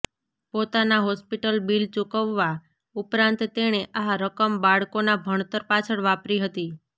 પોતાના hospital bill ચૂકવવા ઉપરાંત તેણે આ રકમ બાળકોના ભણતર પાછળ વાપરી હતી